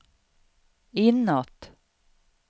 inåt